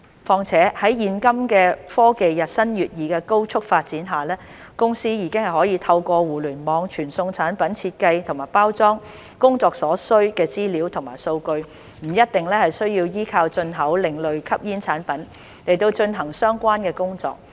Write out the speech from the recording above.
況且，在現今科技日新月異的高速發展下，公司已可透過互聯網傳送產品設計及包裝工作所需的資料及數據，不一定需要依靠進口另類吸煙產品來進行相關的工作。